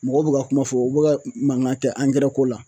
Mɔgɔw bɛ ka kuma fɔ u bɛ ka mankan kɛ ko la